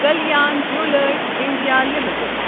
Kalyan jewellers India limited